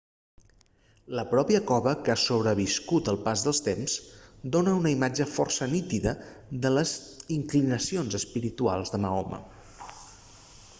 la pròpia cova que ha sobreviscut al pas del temps dona una imatge força nítida de les inclinacions espirituals de mahoma